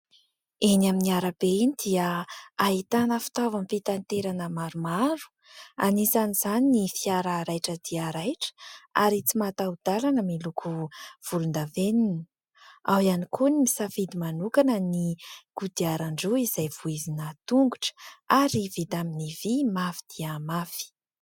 Eny amin'ny arabe iny dia ahitana fitaovam-pitanterana maromaro, anisany izany ny fiara raitra dia raitra, ary tsimataho-dàlana miloko volon-davenina. Ao iany koa ny nisafidy manokana ny kodiaran-droa izay vohizina tongotra, ary vita amin'ny vy mafy dia mafy.